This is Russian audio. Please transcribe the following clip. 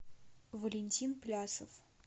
валентин плясов